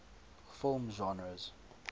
film genres